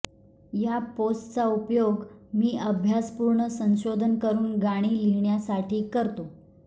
या पोस्ट्सचा उपयोग मी अभ्यासपूर्ण संशोधन करून गाणी लिहिण्यासाठी करतो